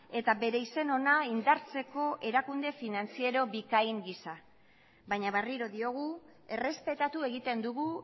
eta bere izen ona indartzeko erakunde finantziero bikain gisa baina berriro diogu errespetatu egiten dugu